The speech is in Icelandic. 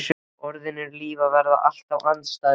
Orðin og lífið verða alltaf andstæðingar.